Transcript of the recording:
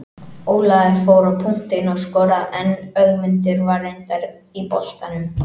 Ólafur fór á punktinn og skoraði en Ögmundur var reyndar í boltanum.